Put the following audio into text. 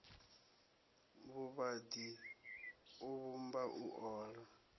vhuvhaḓi u vhumba u ola